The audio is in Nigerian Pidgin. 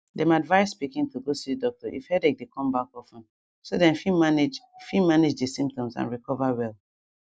dem advise pikin to go see doctor if headache dey come back of ten so dem fit manage fit manage di symptoms and recover well